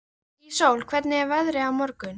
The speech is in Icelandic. Íssól, hvernig er veðrið á morgun?